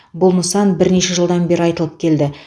бұл нысан бірнеше жылдан бері айтылып келді